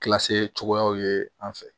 cogoyaw ye an fɛ